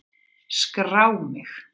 Skrá mig!